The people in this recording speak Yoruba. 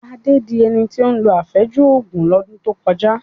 Adé di ẹni tí ó lo àfẹ́jù Ògùn lọ́dún tó kọjá